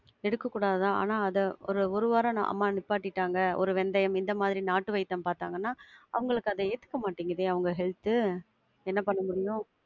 எடுக்கக்கூடாது தான் ஆனா அத ஒரு ஒரு வாரம் அம்மா நிப்பாடிட்டாங்க. ஒரு வெந்தயம் இந்த மாதிரி நாட்டு வைத்தியம் பாத்தாங்கனா, அவங்களுக்கு அது ஏத்துக்க மாட்டிங்குதே அவங்க health து. என்ன பண்ண முடியும்?